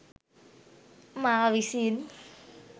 මා විසින්